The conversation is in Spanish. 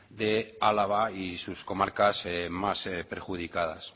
de álava y sus comarcas más perjudicadas